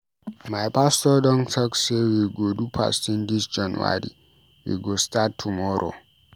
My pastor don talk sey we go do fasting dis January, we go start tomorrow.